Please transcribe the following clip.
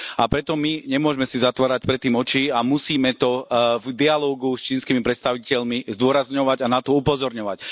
A preto my nemôžeme si zatvárať pred tým oči a musíme to v dialógoch s čínskymi predstaviteľmi zdôrazňovať a na to upozorňovať.